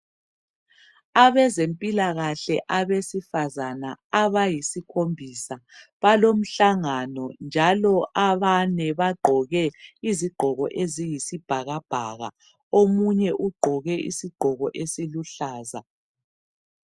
Abezempilakahle abesifazana abayisikhombisa balomhlangano njalo abane bagqoke izigqoko eziyisibhakabhaka. Omunye ugqoke isigqoko esiluhlaza.